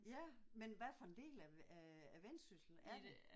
Ja men hvad for en del af af af Vendsyssel er det?